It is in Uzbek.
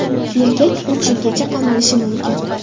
Erkak uch yilgacha qamalishi mumkin.